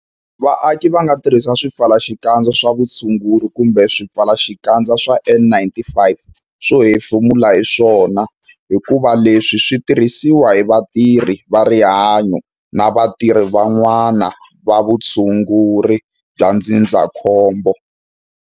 Vaaki va nga tirhisi swipfalaxikandza swa vutshunguri kumbe swipfalaxikandza swa N-95 swo hefemula hi swona hikuva leswi swi tirhisiwa hi vatirhi va rihanyo na van'wana vatirhi va vutshunguri bya ndzindzakhombo.